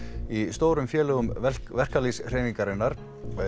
í stórum félögum verkalýðshreyfingarinnar